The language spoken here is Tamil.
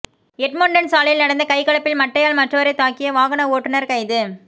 எட்மொன்டன் சாலையில் நடந்த கைகலப்பில் மட்டையால் மற்றவரை தாக்கிய வாகன ஓட்டுனர் கைது